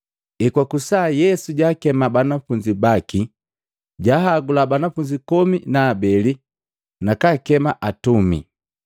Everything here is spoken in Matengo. Ekwakusa, Yesu jaakema banafunzi baki. Jaahagula banafunzi komi na abeli nakakema atumi.